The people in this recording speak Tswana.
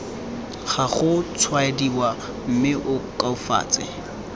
ga gotshwaediwa mme o koafatse